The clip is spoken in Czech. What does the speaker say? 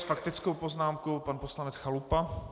S faktickou poznámkou pan poslanec Chalupa.